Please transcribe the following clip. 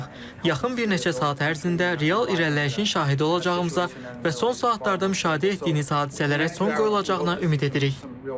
Yaxın bir neçə saat ərzində real irəliləyişin şahidi olacağımıza və son saatlarda müşahidə etdiyimiz hadisələrə son qoyulacağına ümid edirik.